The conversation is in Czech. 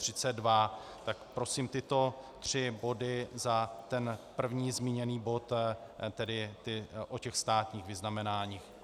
Tak prosím tyto tři body za ten první zmíněný bod, tedy o těch státních vyznamenáních.